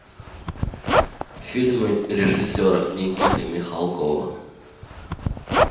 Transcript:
фильмы режиссера никиты михалкова